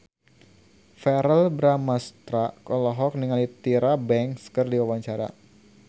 Verrell Bramastra olohok ningali Tyra Banks keur diwawancara